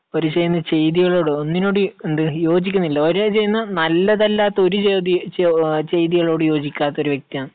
ഓര് ചെയ്യുന്ന ചെയ്തികളോടോ ഒന്നിനോടും എന്ത്, യോജിക്കുന്നില്ല. ഓര് ചെയ്യുന്ന നല്ലതല്ലാത്ത ഒരു ചെയ്തി, ചെയ്തികളോടും യോജിക്കാത്ത ഒരു വ്യക്തിയാണ്.